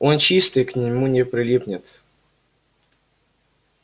он чистый к нему не прилипнет